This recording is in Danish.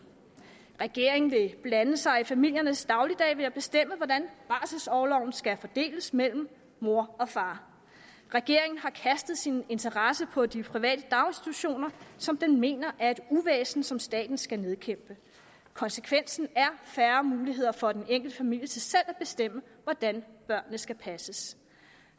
regeringen vil blande sig i familiernes dagligdag ved at bestemme hvordan barselorloven skal fordeles mellem mor og far regeringen har kastet sin interesse på de private daginstitutioner som den mener er et uvæsen som staten skal nedkæmpe konsekvensen er færre muligheder for den enkelte familie til selv at bestemme hvordan børnene skal passes